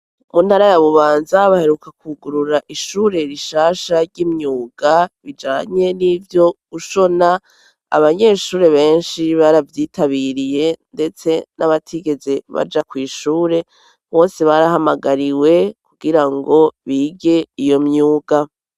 Mu ntara ya Bubanza baheruka kwugurura ishure rishasha ry'imyuga, bijanye n'ivyo gushona, abanyeshure benshi baravyitabiriye ndetse n'abatigeze baja kw'ishure, bose barahamagariwe kugira ngo bige iyo myuga.